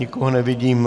Nikoho nevidím.